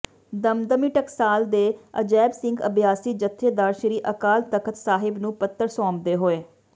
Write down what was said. ਦਮਦਮੀ ਟਕਸਾਲ ਦੇ ਅਜੈਬ ਸਿੰਘ ਅਭਿਆਸੀ ਜੱਥੇਦਾਰ ਸ਼੍ਰੀ ਅਕਾਲ ਤਖਤ ਸਾਹਿਬ ਨੂੰ ਪੱਤਰ ਸੌਂਪਦੇ ਹੋਏ